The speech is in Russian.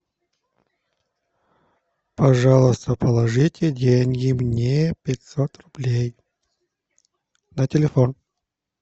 пожалуйста положите деньги мне пятьсот рублей на телефон